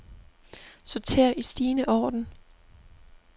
Sorter i stigende orden.